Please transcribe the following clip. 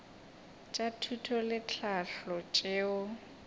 tša thuto le tlhahlo tšeo